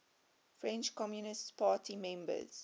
french communist party members